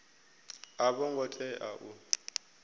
a vho ngo tea u